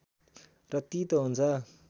र तीतो हुन्छ